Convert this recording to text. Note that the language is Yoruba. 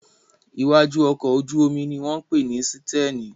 Iwájú ọkọ̀ ojú-omi ní wọ́n pè ní sítẹ̀nì